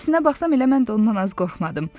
Əslinə baxsam elə mən də ondan az qorxmadım.